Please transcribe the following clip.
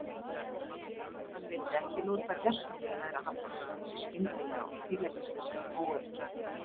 Hann vildi ekki lúta gersamlega í lægra haldi fyrir þessu skyndilega og tilefnislausa óöryggi.